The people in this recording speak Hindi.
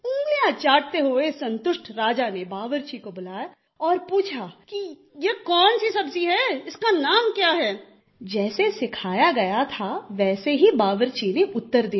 उंगलिया चाटते हुए संतुष्ट राजा ने बावर्ची को बुलाया और पुछा कि यह कौन सी सब्ज़ी हैं इसका नाम क्या हैं जैसे सिखाया गया था वैसे ही बावर्ची ने उत्तर दिया